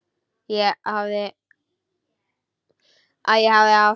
Að ég hafi átt.?